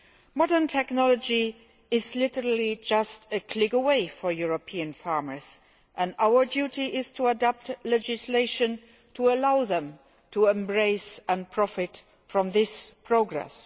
Modern technology is literally just a click away for European farmers, and our duty is to adopt legislation to allow them to embrace and profit from this progress.